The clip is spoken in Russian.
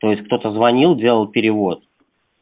то есть кто-то звонил делал перевод